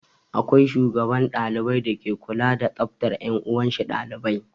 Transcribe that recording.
Akwai shugaban dalibai dake kula da tsaftar 'yan uwanshi ɗalibai.